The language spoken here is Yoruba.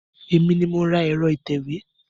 Èmi ni mo ra ẹ̀rọ ìtẹ̀wé.